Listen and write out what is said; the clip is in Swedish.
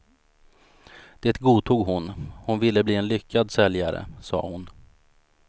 Det godtog hon, hon ville bli en lyckad säljare sa hon.